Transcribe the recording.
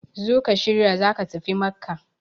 zo ka shirya za ka tafi Makka!